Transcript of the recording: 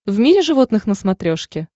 в мире животных на смотрешке